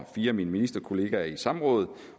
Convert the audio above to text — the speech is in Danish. fire af mine ministerkolleger i samråd